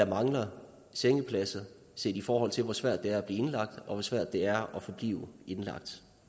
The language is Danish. mangler sengepladser set i forhold til hvor svært det er at blive indlagt og hvor svært det er at forblive indlagt